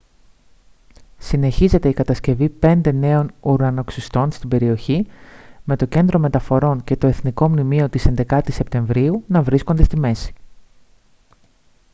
συνεχίζεται η κατασκευή πέντε νέων ουρανοξυστών στην περιοχή με το κέντρο μεταφορών και το εθνικό μνημείο της 11ης σεπτεμβρίου να βρίσκονται στη μέση